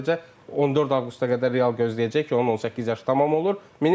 Sadəcə 14 avqusta qədər Real gözləyəcək ki, onun 18 yaşı tamam olur.